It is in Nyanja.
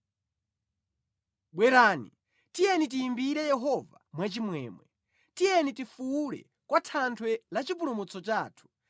Bwerani, tiyeni timuyimbire Yehova mwachimwemwe, tiyeni tifuwule kwa Thanthwe la chipulumutso chathu